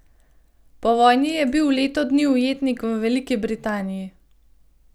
Po vojni je bil leto dni ujetnik v Veliki Britaniji.